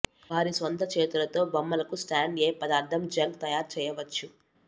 వారి స్వంత చేతులతో బొమ్మలకు స్టాండ్ ఏ పదార్థం జంక్ తయారు చేయవచ్చు